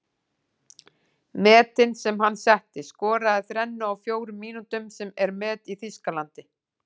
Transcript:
Metin sem hann setti:- Skoraði þrennu á fjórum mínútum sem er met í Þýskalandi.